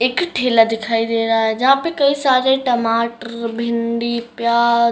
एक ठेला दिखाई दे रहा है जहाँ पे कई सारे टमाटर भिंडी प्या --